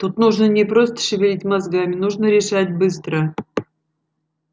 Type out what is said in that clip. тут нужно не просто шевелить мозгами нужно решать быстро